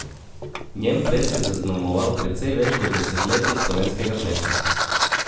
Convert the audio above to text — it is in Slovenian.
Njen ples je zaznamoval precej več kot desetletje slovenskega plesa.